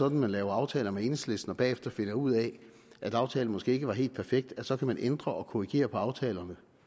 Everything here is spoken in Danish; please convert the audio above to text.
at man laver aftaler med enhedslisten og bagefter finder ud af at aftalen måske ikke var helt perfekt så kan ændre og korrigere aftalen